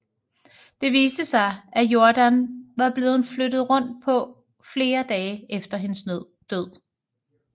Det viste sig at Jordan var blevet flyttet rundt på flere dagen efter hendes død